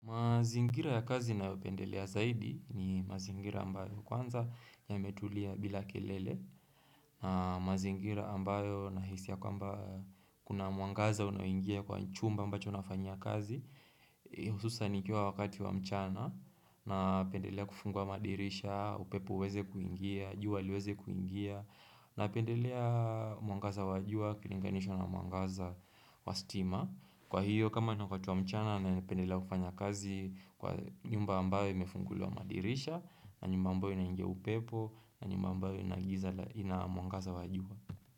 Mazingira ya kazi ninayo upendelea zaidi ni mazingira ambayo kwanza ya metulia bila kelele na mazingira ambayo nahisi ya kwamba kuna mwangaza unaoingia kwa chumba ambacho nafanyia kazi hususan nikiwa wa wakati wa mchana napendelea kufungua madirisha, upepo uweze kuingia, jua liweze kuingia napendelea mwangaza wa jua, ukilinganishwa na mwangaza wa stima Kwa hiyo kama wakati mchana ninapendela kfanya kazi kwa nyumba ambayo imefunguliwa madirisha na nyumba ambayo inaingia upepo na nyumba ambayo inagiza ina mwangaza wa jua.